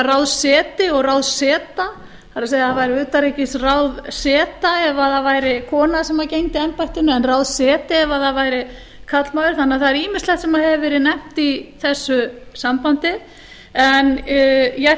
það ráðseti og ráðseta það er það væri utanríkisráðseta ef það væri kona sem gegndi embættinu en ráðseti ef það væri karlmaður þannig að það er ýmislegt sem hefur verið nefnt í þessu sambandi en ég ætla